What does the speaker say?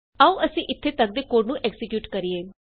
ਆਉ ਅਸੀਂ ਇਥੇ ਤਕ ਦੇ ਕੋਡ ਨੂੰ ਐਕਜ਼ੀਕਿਯੂਟ ਕਰੀਏ